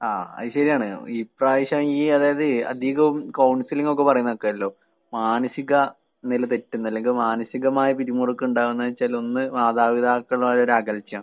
ആഹ് അത് ശരിയാണ് ഇപ്രാവശ്യം ഈ അതായത് അധികം കൗൺസിലിങ്ങൊക്കെ പറയുന്ന കേക്കാലോ. മാനസികനില തെറ്റുന്ന അല്ലെങ്കി മാനസികമായ പിരിമുറക്കം ഉണ്ടാകുന്ന വച്ചാല് ഒന്ന് മാതാപിതാക്കളുമായൊരു അകൽച്ച.